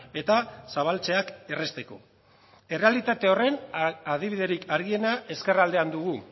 eta zabaltzeak errazteko errealitate horren adibiderik argiena ezkerraldean dugu